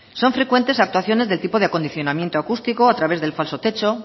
son frecuentes actuaciones del tipo de acondicionamiento acústico a través del falso techo